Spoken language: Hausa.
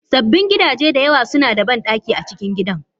Sabbin gidaje da yawa suna da bandaki a cikin gidan.